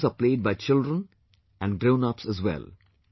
These games are played by children and grownups as well